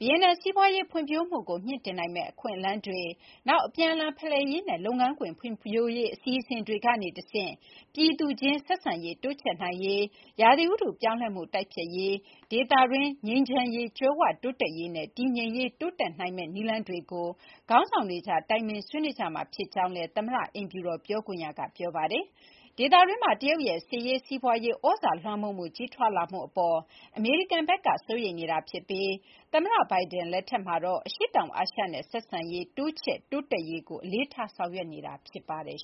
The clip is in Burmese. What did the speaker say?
ဗီယက်နမ် စီးပွါးရေးဖွံ့ဖြိုးမှုကို မြှင့်တင်နိုင်မယ့်အခွင့်အလမ်းတွေ၊ နောက် အပြန်အလှန်ဖလှယ်ရေးနဲ့ လုပ်ငန်းခွင်ဖွံ့ဖြိုးရေး အစီအစဉ်တွေကနေတဆင့် ပြည်သူအချင်းချင်းကြား ဆက်ဆံရေးတိုးချဲ့နိုင်ရေး၊ ရာသီဥတုပြောင်းလဲမှု တိုက်ဖျက်ရေး၊ ဒေသတွင်းငြိမ်းချမ်းရေး၊ ကြွယ်ဝတိုးတက်ရေးနဲ့ တည်ငြိမ်ရေး တိုးတက်ရရှိနိုင်မယ့် နည်းလမ်းတွေကို ခေါင်းဆောင်တွေကြား တိုင်ပင် ဆွေးနွေးကြမှာဖြစ်ကြောင်းလည်း အမေရိကန်သမ္မတအိမ်ဖြူတော်ပြောခွင့်ရက ပြောပါတယ်။ ဒေသတွင်းမှာ တရုတ်ရဲ့စစ်ရေး၊ စီးပွါးရေးသြဇာလွှမ်းမိုးမှု ကြီးထွားလာမှုအပေါ်မှာ အမေရိကန်ဘက်က စိုးရိမ်နေပြီး သမ္မတ Biden လက်ထက်မှာတော့ အရှေ့တောင်အာရှနဲ့ ဆက်ဆံရေးတိုးချဲ့ တိုးတက်ရေးကို အလေးထား ဆောင်ရွက်နေတာ ဖြစ်ပါတယ်